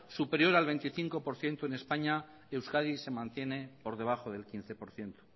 superior al veinticinco por ciento en españa euskadi se mantiene por debajo del quince por ciento